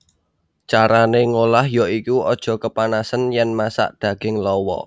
Carané ngolah ya iku aja kepanasen yèn masak daging lawa